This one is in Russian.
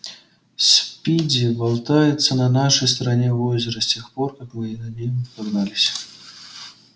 спиди болтается на нашей стороне озера с тех пор как мы за ним погнались